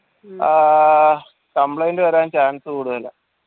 ഏർ complaint വരാൻ chance കൂടുതലാ